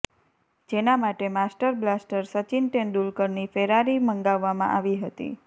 જેના માટે master blaster Sachin તેંડુલકરની ફેરારી મંગાવવામાં આવી હતી